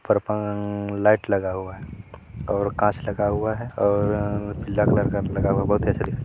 परपांग light लगा हुआ है और कांच लगा हुआ है और पीला कलर गार्ड बहुत अच्छा दिखाई--